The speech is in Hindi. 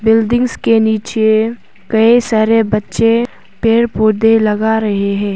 बिल्डिंग्स के नीचे कई सारे पेड़ पौधे लगा रहे हैं।